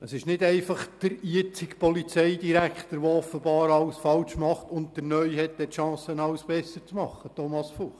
Es ist nicht einfach der jetzige Polizeidirektor, der offenbar alles falsch macht, während der neue dann die Chance hat, alles besser zu machen, Grossrat Fuchs.